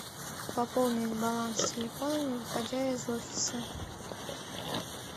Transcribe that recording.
пополнить баланс телефона не выходя из офиса